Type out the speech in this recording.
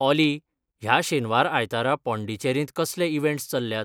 ऑली ह्या शेनवार आयतारा पाँडीचेरींत कसले इवँट्स चल्ल्यात?